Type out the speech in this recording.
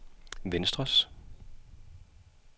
venstres